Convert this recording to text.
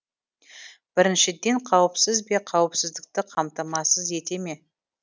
біріншіден қауіпсіз бе қауіпсіздікті қамтамасыз ете ме